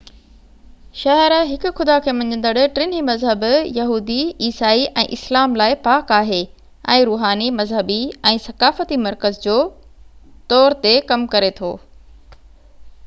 شهر هڪ خدا کي مڃيندڙ ٽنهي مذهب يهودي عيسائي ۽ اسلام لاءِ پاڪ آهي ۽ روحاني مذهبي ۽ ثقافتي مرڪز جو طور تي ڪم ڪري ٿو